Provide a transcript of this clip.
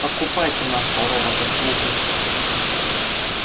покупайте нашего робота-слугу